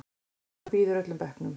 Og hann býður öllum bekknum.